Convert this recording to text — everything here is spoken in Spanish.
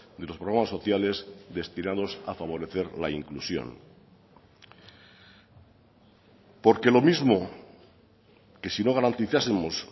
de los programas sociales destinados a favorecer la inclusión porque lo mismo que si no garantizásemos